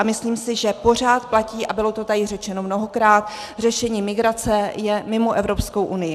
A myslím si, že pořád platí, a bylo to tady řečeno mnohokrát, řešení migrace je mimo Evropskou unii.